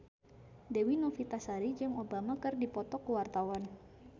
Dewi Novitasari jeung Obama keur dipoto ku wartawan